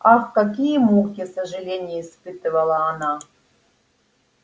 ах какие муки сожалений испытывала она